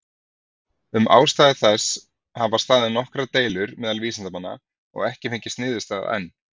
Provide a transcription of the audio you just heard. Um ástæðu þessa hafa staðið nokkrar deilur meðal vísindamanna, og ekki fengist niðurstaða enn.